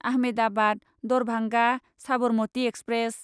Ahmedabad Darbhanga Sabarmati express